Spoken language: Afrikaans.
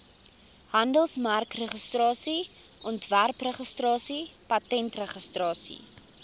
handelsmerkregistrasie ontwerpregistrasie patentregistrasie